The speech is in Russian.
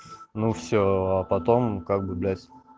ну все а потом как бы блять